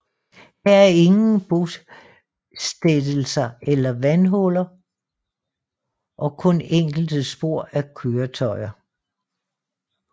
Her er ingen bostættelser eller vandhuller og kun enkelte spor af køretøjer